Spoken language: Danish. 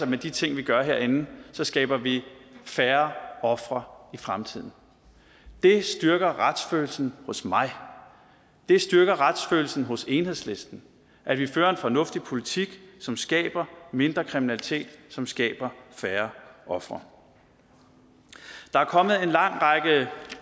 med de ting vi gør herinde skaber vi færre ofre i fremtiden det styrker retsfølelsen hos mig det styrker retsfølelsen hos enhedslisten at vi fører en fornuftig politik som skaber mindre kriminalitet som skaber færre ofre der er kommet en lang række